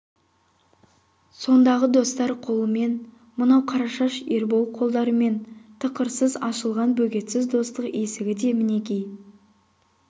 сондағы достар қолымен мынау қарашаш ербол қолдарымен тықырсыз ашылған бөгетсіз достық есігі де мінекей